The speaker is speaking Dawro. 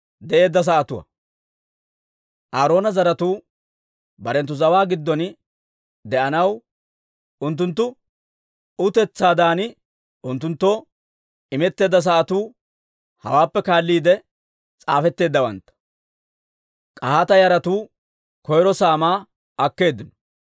Aaroona zaratuu barenttu zawaa giddon de'anaw unttunttu utetsaadan unttunttoo imetteedda sa'atuu hawaappe kaalliide s'aafetteeddawantta. K'ahaata yaratuu koyro saamaa akkeeddino.